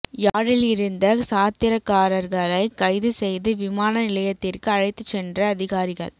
யாழில் இருந்த சாத்திரக்காரர்களை கைது செய்து விமான நிலையத்திற்கு அழைத்துச் சென்ற அதிகாரிகள்